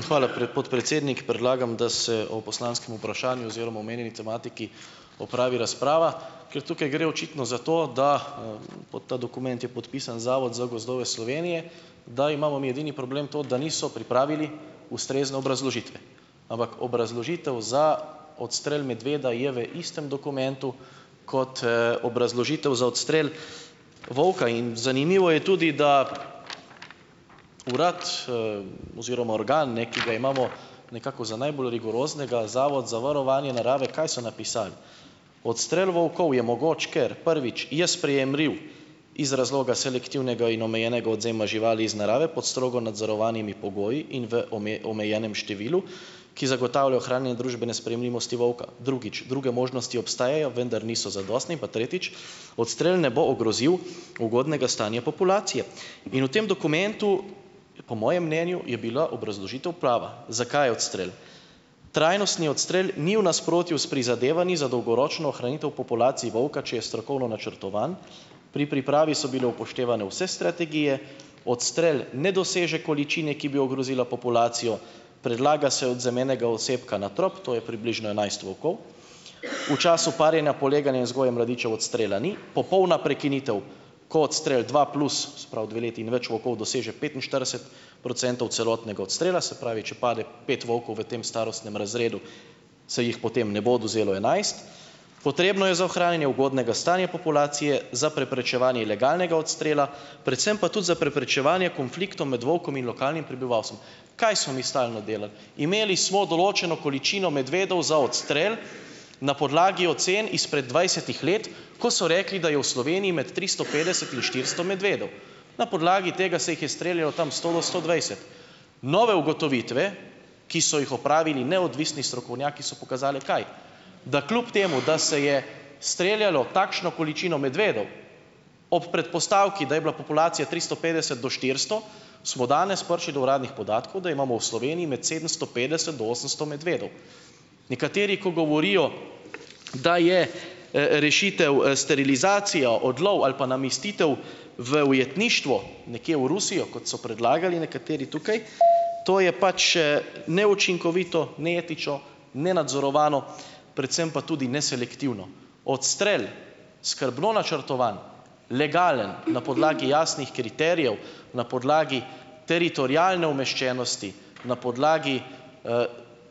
Hvala, pred podpredsednik. Predlagam, da se o poslanskem vprašanju oziroma omenjeni tematiki opravi razprava, ker tukaj gre očitno za to, da - pod ta dokument je podpisan Zavod za gozdove Slovenije, da imamo mi edini problem to, da niso pripravili ustrezne obrazložitve. Ampak obrazložitev za odstrel medveda je v istem dokumentu, kot, obrazložitev za odstrel volka in zanimivo je tudi, da urad, oziroma organ, ne, ki ga imamo nekako za najbolj rigoroznega, Zavod za varovanje narave, kaj so napisali? Odstrel volkov je mogoč, ker: "Prvič: Je sprejemljiv iz razloga selektivnega in omejenega odvzema živali iz narave pod strogo nadzorovanimi pogoji in v omejenem številu, ki zagotavlja ohranjanje družbene sprejemljivosti volka. Drugič: Druge možnosti obstajajo, vendar niso zadostne. In pa tretjič: Odstrel ne bo ogrozil ugodnega stanja populacije." In v tem dokumentu, po mojem mnenju, je bila obrazložitev prava. Zakaj odstrel? Trajnostni odstrel ni v nasprotju s prizadevanji za dolgoročno ohranitev populacij volka, če je strokovno načrtovan. Pri pripravi so bile upoštevane vse strategije, odstrel ne doseže količine, ki bi ogrozila populacijo. Predlaga se odvzem enega osebka na trop, to je približno enajst volkov. V času parjenja, poleganja in vzgoje mladičev odstrela ni. Popolna prekinitev, ko odstrel dva plus, se pravi dve leti in več volkov doseže petinštirideset procentov celotnega odstrela, se pravi, če pade pet volkov v tem starostnem razredu, se jih potem ne bo odvzelo enajst. Potrebno je za ohranjanje ugodnega stanja populacije za preprečevanje ilegalnega odstrela, predvsem pa tudi za preprečevanje konfliktov med volkom in lokalnim prebivalstvom. Kaj smo mi stalno delali? Imeli smo določeno količino medvedov za odstrel na podlagi ocen izpred dvajsetih let, ko so rekli, da je v Sloveniji med tristo petdeset in štiristo medvedov. Na podlagi tega se jih je streljalo tam sto do sto dvajset. Nove ugotovitve, ki so jih opravili neodvisni strokovnjaki, so pokazale, kaj, da kljub temu, da se je streljalo takšno količino medvedov ob predpostavki, da je bila populacija tristo petdeset do štiristo, smo danes prišli do uradnih podatkov, da imamo v Sloveniji med sedemsto petdeset do osemsto medvedov. Nekateri, ko govorijo, da je, rešitev, sterilizacija, odlov ali pa namestitev v ujetništvo nekje v Rusijo, kot so predlagali nekateri tukaj, to je pač, neučinkovito, neetično, nenadzorovano, predvsem pa tudi neselektivno. Odstrel skrbno načrtovan, legalen, na podlagi jasnih kriterijev, na podlagi teritorialne umeščenosti, na podlagi,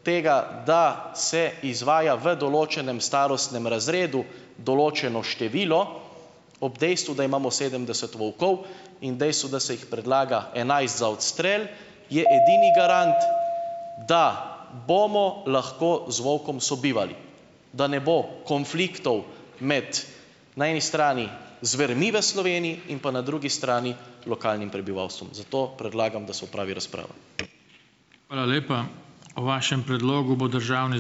tega, da se izvaja v določenem starostnem razredu določeno število, ob dejstvu, da imamo sedemdeset volkov, in dejstvu, da se jih predlaga enajst za odstrel, je edini garant, da bomo lahko z volkom sobivali, da ne bo konfliktov med, na eni strani, zvermi v Sloveniji in pa na drugi strani lokalnim prebivalstvom. Zato predlagam, da se opravi razprava.